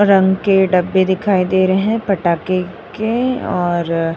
रंग के डब्बे दिखाई दे रहे हैं पटाके के और --